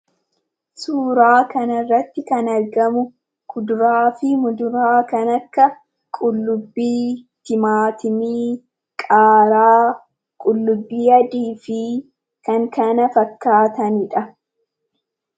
Suuraa kanarratti kan argamu, kuduraafi muduraa kan akka qullubbii, timaatimii, qaaraa qullubbii adiifi kan kana fakkaatanidha.